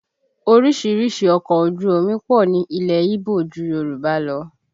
Orísìírísìí ọkọ̀ ojú omi pọ̀ ní ilẹ̀ Ígbò ju Yorùbá lọ